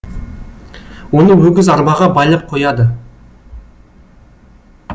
оны өгіз арбаға байлап қояды